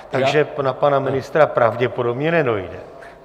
Takže na pana ministra pravděpodobně nedojde.